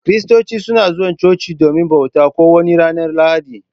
Kiristoci suna zuwa chochi domin bauta, ko wani ranar lahadi.